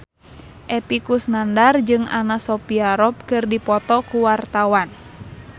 Epy Kusnandar jeung Anna Sophia Robb keur dipoto ku wartawan